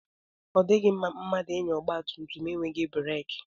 Ọ dịghị mma mmadụ ịnya ọgba tum tum enweghị breki.